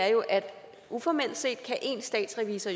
er jo at uformelt set kan én statsrevisor